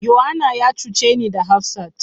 Yohana ya cuce ni da hafsat.